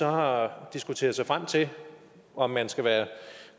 har diskuteret sig frem til om man skal